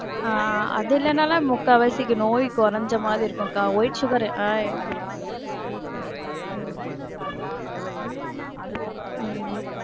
ஆஹ் அது இல்லனாலும் முக்கால்வாசி நோய் கொறஞ்ச மாதிரி இருக்கும்கா, white sugar ரு ஆஹ் உம் உம்